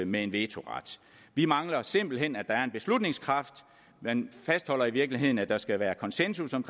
med en vetoret vi mangler simpelt hen at der er en beslutningskraft man fastholder i virkeligheden at der skal være konsensus om